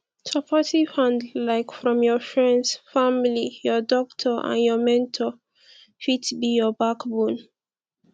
supportive hand like from friends family your doctor and your mentor fit be your backbone